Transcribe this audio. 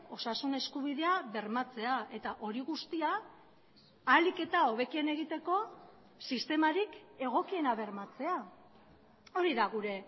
osasun eskubidea bermatzea eta hori guztia ahalik eta hobekien egiteko sistemarik egokiena bermatzea hori da gure